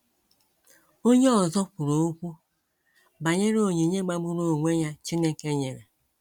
Onye ọzọ kwuru okwu banyere onyinye magburu onwe ya Chineke nyere.